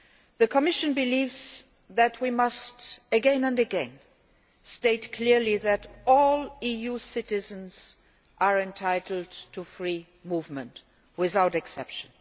The Commission believes that we must again and again state clearly that all EU citizens are entitled to free movement without exception.